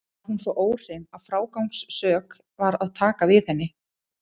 Var hún svo óhrein að frágangssök var að taka við henni.